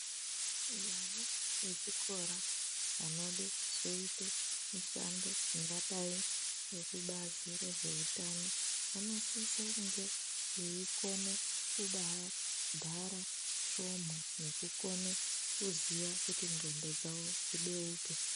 Vana vechikora vanode kuzoite mishando ingadai nekubazi rezveutano vanosise kunge veikone kumbaa bhara svomu nekukone kuziya kuti ndxondo dzawo dzibeuke.